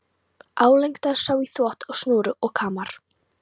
Álengdar sá í þvott á snúru og kamar.